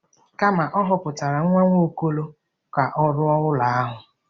Kama, Ọ họpụtara nwa Nwaokolo ka ọ rụọ ụlọ ahụ.